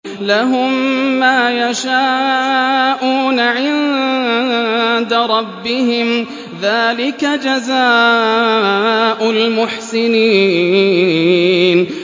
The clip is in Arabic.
لَهُم مَّا يَشَاءُونَ عِندَ رَبِّهِمْ ۚ ذَٰلِكَ جَزَاءُ الْمُحْسِنِينَ